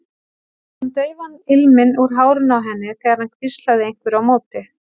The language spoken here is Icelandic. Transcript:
Hann fann daufan ilminn úr hárinu á henni þegar hann hvíslaði einhverju á móti.